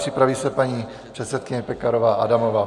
Připraví se paní předsedkyně Pekarová Adamová.